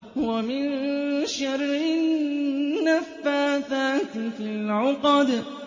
وَمِن شَرِّ النَّفَّاثَاتِ فِي الْعُقَدِ